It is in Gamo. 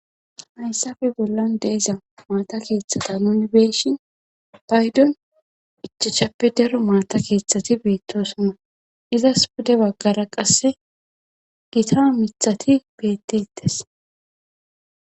hayssafe bollan deeza maata keeththata nuni beeshin baydon ichachappe daro maata keeththati beettosona izas bude baggara qasse gitaa mithati bettettes